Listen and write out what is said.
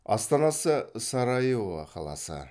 астанасы сараево қаласы